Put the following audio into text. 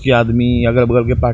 की आदमी अगल-बगल के --